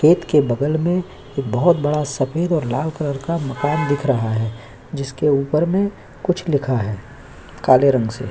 gate के बगल में बोहोत बड़ा सफेद और लाल कलर का मकान दिख रहा है जिसके ऊपर में कुछ लिखा है काले रंग से--